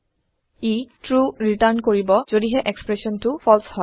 ই true return কৰিব যদিহে এক্সপ্ৰেচনটো ফালছে হয়